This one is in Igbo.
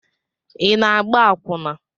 Ị na-agba akwụna?